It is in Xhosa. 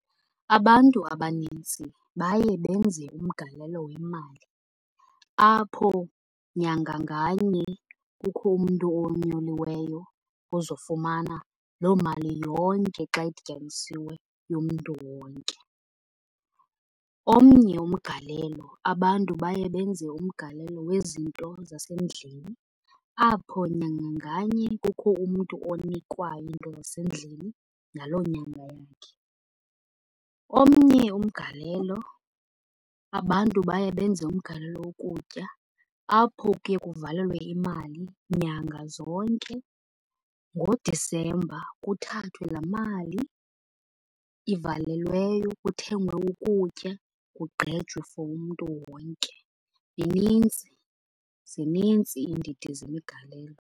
Abantu abanintsi baye benze umgalelo wemali apho nyanga nganye kukho umntu onyuliweyo ozofumana loo mali yonke xa idityaniswe yomntu wonke. Omnye umgalelo abantu baye benze umgalelo wezinto zasendlini apho nyanga nganye kukho umntu onikwayo into zasendlini ngaloo nyanga yakhe. Omnye umgalelo abantu baye benze umgalelo wokutya apho kuye kuvalelwe imali nyanga zonke ngoDisemba kuthathwe laa mali ivalelweyo kuthengwe ukutya, kugqejwe for umntu wonke. Minintsi, zinintsi iindidi zemigalelo.